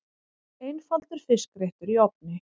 Einfaldur fiskréttur í ofni